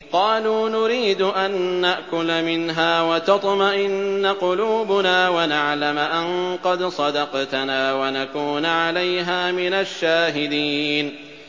قَالُوا نُرِيدُ أَن نَّأْكُلَ مِنْهَا وَتَطْمَئِنَّ قُلُوبُنَا وَنَعْلَمَ أَن قَدْ صَدَقْتَنَا وَنَكُونَ عَلَيْهَا مِنَ الشَّاهِدِينَ